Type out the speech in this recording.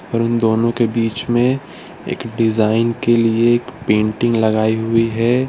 उन दोनों के बीच में एक डिजाइन के लिए एक पेंटिंग लगाइ हुई है।